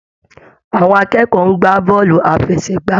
Àwọn akẹ́kọ̀ọ́ ń gbà bọ́ọ̀lù àfẹsẹ̀gbá.